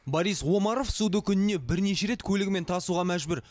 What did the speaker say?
борис омаров суды күніне бірнеше рет көлігімен тасуға мәжбүр